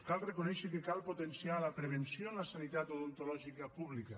cal reconèixer que cal potenciar la prevenció en la sanitat odontològica pública